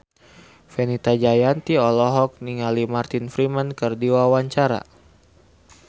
Fenita Jayanti olohok ningali Martin Freeman keur diwawancara